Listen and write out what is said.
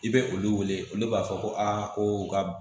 I bɛ olu wele olu b'a fɔ ko a ko u ka